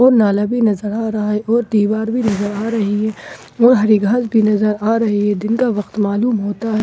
और नाला भी नजर आ रहा है और दीवार भी नजर आ रही है और हरी घास भी नजर आ रही है दिन का व्यक्त मालूम होता है।